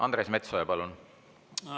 Andres Metsoja, palun!